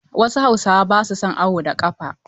Wasu hausawa ba su son awo da ƙafa.